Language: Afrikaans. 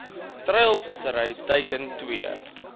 treilvissery teiken twee